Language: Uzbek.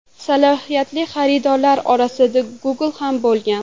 Salohiyatli xaridorlar orasida Google ham bo‘lgan.